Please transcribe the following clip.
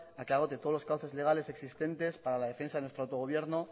a que agote todos los cauces legales existentes para la defensa de nuestro autogobierno